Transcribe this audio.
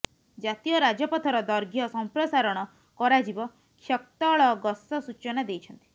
ଜାତୀୟ ରାଜପଥର ଦୈର୍ଘ୍ୟ ସମ୍ପ୍ରସାରଣ କରାଯିବ କ୍ଷକ୍ତଳଗଶ ସୂଚନା ଦେଇଛନ୍ତି